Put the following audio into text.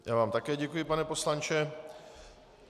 Já vám také děkuji, pane poslanče.